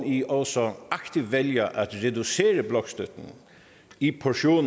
i det også aktivt vælger at reducere blokstøtten i portioner